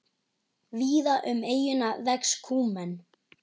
Víða um eyjuna vex kúmen.